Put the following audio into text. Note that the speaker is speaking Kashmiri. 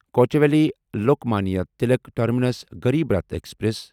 Kochuveli Lokmanya Tilak terminus Garib Rath express